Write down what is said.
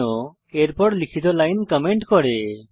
চিহ্ন এর পর লিখিত লাইন কমেন্ট করে